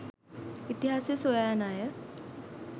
ඉතිහාසය සොයා යන අය